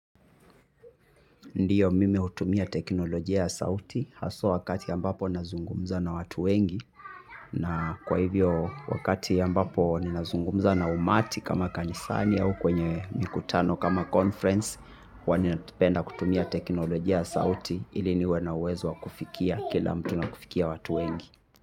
Ndiyo mimi hutumia teknolojia ya sauti hasa wakati ambapo nazungumza na watu wengi. Na kwa hivyo wakati ambapo ninazungumza na umati kama kanisani au kwenye mikutano kama conference huwa ninapenda kutumia teknolojia ya sauti ili niwe na uwezo wa kufikia kila mtu na kufikia watu wengi.